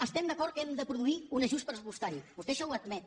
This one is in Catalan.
estem d’acord que hem de produir un ajust pressupostari vostè això ho admet